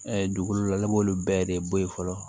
dugukolo la b'olu bɛɛ de bɔ yen fɔlɔ